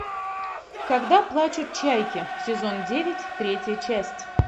когда плачут чайки сезон девять третья часть